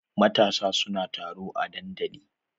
Matasa su na taro a dandalin.